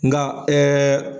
Nka